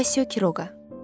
Orazio Kiroqa.